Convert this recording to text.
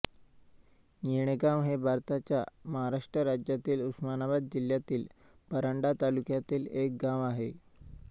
येणेगाव हे भारताच्या महाराष्ट्र राज्यातील उस्मानाबाद जिल्ह्यातील परांडा तालुक्यातील एक गाव आहे